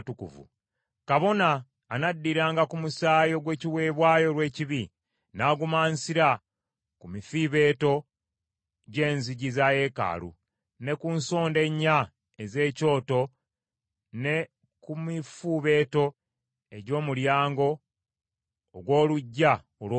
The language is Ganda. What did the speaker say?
Kabona anaddiranga ku musaayi ogw’ekiweebwayo olw’ekibi n’agumansira ku mifuubeeto gy’enzigi za yeekaalu, ne ku nsonda ennya ez’ekyoto ne ku mifuubeeto egy’omulyango ogw’oluggya olw’omunda.